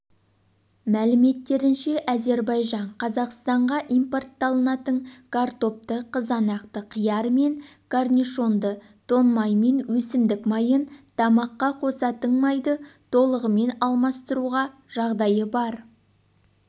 мәліметтерінше әзербайжан қазақстанға импортталатын картопты қызанақты қияр мен корнишонды тоң май мен өсімдік майын тамаққа қосатын майды толығымен алмастыруға жағдайы бар